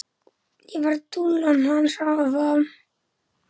Ég var dúllan hans afa.